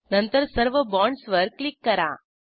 नंतर सर्व बाँडसवर क्लिक करा